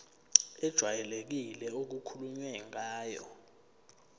ejwayelekile okukhulunywe ngayo